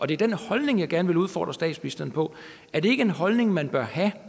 det er den holdning jeg gerne vil udfordre statsministeren på er den holdning man bør have